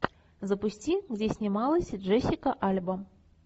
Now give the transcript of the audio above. запусти где снималась джессика альба